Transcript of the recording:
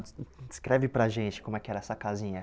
Descreve para gente como é que era essa casinha.